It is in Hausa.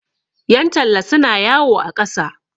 yantalla suna yawo a ƙasa